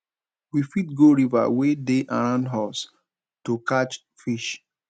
we fit go river wey dey around us to catch fish